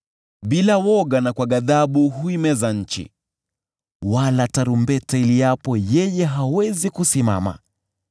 Bila woga na kwa ghadhabu huimeza nchi, wala tarumbeta iliapo yeye hawezi kusimama.